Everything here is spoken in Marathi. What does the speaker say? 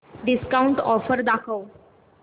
डिस्काऊंट ऑफर दाखव